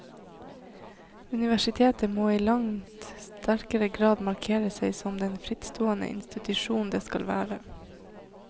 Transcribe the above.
Universitetet må i langt sterkere grad markere seg som den frittstående institusjon det skal være.